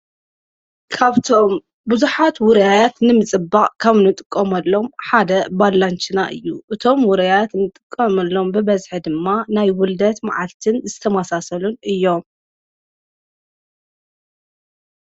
ካብቶም ብዙኃት ውርያት ንምጽባቕ ካም ንጥቆመሎም ሓደ ባላንጂና እዩ እቶም ወረያያት ንጥቀመሎም ብበዝሐ ድማ ናይ ውልደት መዓልትን ዝተማሳሰሉን እዮም::